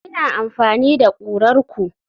Ina amfani da kurar ku.